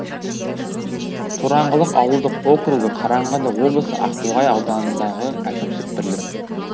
тораңғылық ауылдық округі қарағанды облысы ақтоғай ауданындағы әкімшілік бірлік